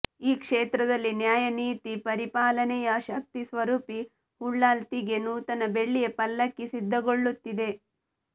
ಈ ಕ್ಷೇತ್ರದಲ್ಲಿ ನ್ಯಾಯ ನೀತಿ ಪರಿಪಾಲನೆಯ ಶಕ್ತಿ ಸ್ವರೂಪಿ ಉಳ್ಳಾಲ್ತಿಗೆ ನೂತನ ಬೆಳ್ಳಿಯ ಪಲ್ಲಕ್ಕಿ ಸಿದ್ಧಗೊಳ್ಳುತ್ತಿದೆ